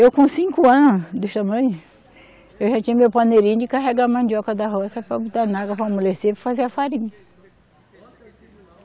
Eu com cinco anos desse tamanho, eu já tinha meu paneirinho de carregar a mandioca da roça para botar na água para amolecer e fazer a farinha.